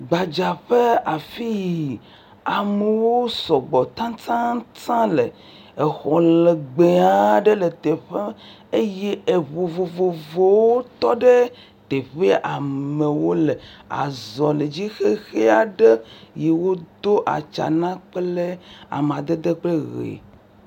Gbadzaƒe afii amewo sɔgbɔ tataataŋ le, exɔ legbee aɖe le teƒea eye eŋu vovovowo tɔ ɖe teƒea, amewo le azɔli dzi, xexi aɖe yi wodo atsia na kple amadede kple ʋe.